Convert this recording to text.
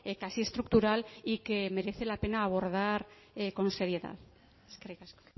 casi estructural y que merece la pena abordar con seriedad eskerrik asko